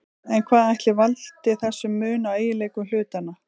En hvað ætli valdi þessum mun á eiginleikum hlutanna?